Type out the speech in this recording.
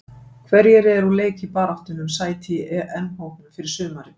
Hverjir eru úr leik í baráttunni um sæti í EM-hópnum fyrir sumarið?